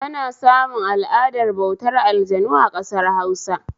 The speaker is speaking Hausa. Ana samun al'adar bautar aljanu a ƙasar Hausa